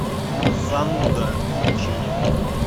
зануда включи мне